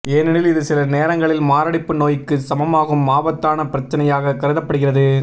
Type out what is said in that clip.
ஏனெனில் இது சில நேரங்களில் மாரடைப்பு நோயிக்கு சமமாகும் ஆபத்தான பிரச்சனையாக கருத்தப்படுகிறது